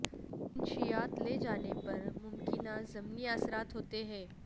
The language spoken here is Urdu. منشیات لے جانے پر ممکنہ ضمنی اثرات ہوتے ہیں